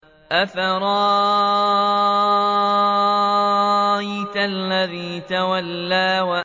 أَفَرَأَيْتَ الَّذِي تَوَلَّىٰ